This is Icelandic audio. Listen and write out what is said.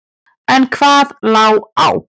En hvað lá á?